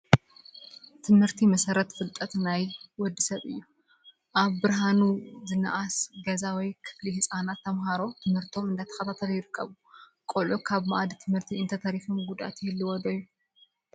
ትምህርቲ መሰረት ፍልጠት ናይ ወዲ ሰብ እዩ፡፡ ኣብ ብርሃኑ ዝነኣሰ ገዛ ወይ ክፍሊ ህፃናት ተምሃሮ ትምህርቶም እንዳተኸታተሉ ይርከቡ፡፡ ቆልዑ ካብ ማኣዲ ት/ቲ እንተተሪፎም ጉድኣት ዶ ይህልዎ ?